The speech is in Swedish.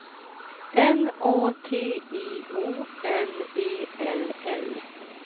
N A T I O N E L L